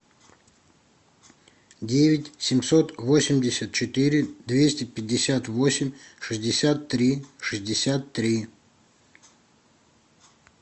девять семьсот восемьдесят четыре двести пятьдесят восемь шестьдесят три шестьдесят три